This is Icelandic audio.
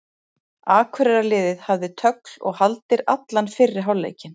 Akureyrarliðið hafði tögl og haldir allan fyrri hálfleikinn.